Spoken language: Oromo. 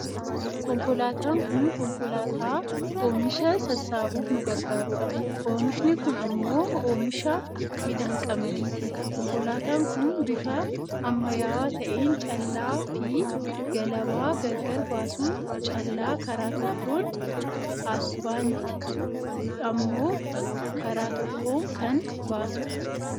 Konkolaataan kun konkolaataa oomisha sassaabuuf nu garagaarudha. Oomishni kun ammoo oomisha midhaan qamadiiti. Konkolaataan kun bifa ammayyaawwaa ta'een callaa fi galabaa gargara baasuun callaa karaa tokkoon husband ammoo karaa tokkoon kan baasudha.